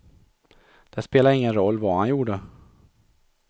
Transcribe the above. Det spelade ingen roll vad han gjorde.